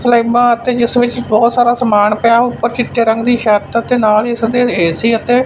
ਸਲੈਬਾ ਅਤੇ ਜਿਸ ਵਿੱਚ ਬਹੁਤ ਸਾਰਾ ਸਮਾਨ ਪਿਆ ਉੱਪਰ ਚਿੱਟੇ ਰੰਗ ਦੀ ਛੱਤ ਤੇ ਨਾਲ ਹੀ ਇਸ ਦੇ ਏ_ਸੀ ਅਤੇ--